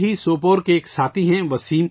ایسے ہی سوپور کے ایک ساتھی ہیں